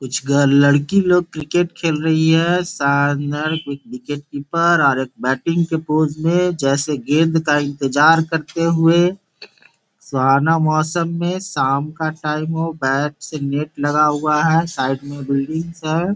कुछ गर्ल लड़की लोग क्रिकेट खेल रही है शानदार एक विकेट कीपर और एक बेटिंग के पोज़ में जैसे गेंद का इंतज़ार करते हुए सुहाना मौसम में शाम का टाइम हो बेट्स नेट लगा हुआ है साइड में बिल्डिंग सा है।